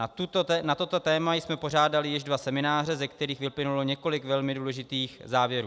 Na toto téma jsme pořádali již dva semináře, ze kterých vyplynulo několik velmi důležitých závěrů.